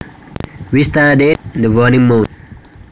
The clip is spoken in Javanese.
We studied the waning moon